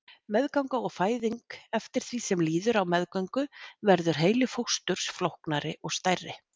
Meðganga og fæðing Eftir því sem líður á meðgöngu verður heili fósturs flóknari og stærri.